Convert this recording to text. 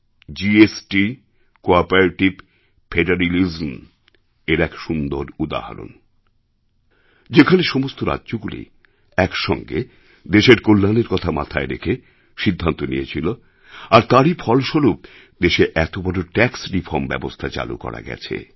GST cooperative ফেডারিলিজমএর এক সুন্দর উদাহরণ যেখানে সমস্ত রাজ্যগুলি একসঙ্গে দেশের কল্যাণের কথা মাথায় রেখে সিদ্ধান্ত নিয়েছিল আর তারই ফলস্বরূপ দেশে এত বড় ট্যাক্স রিফর্ম ব্যবস্থা চালু করা গেছে